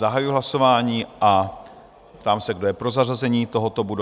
Zahajuji hlasování a ptám se, kdo je pro zařazení tohoto bodu?